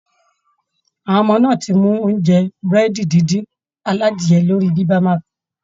Àwọn ọmọ náà ti mú oúnjẹ Búrẹ́dì díndín aladiye lórí bibimapu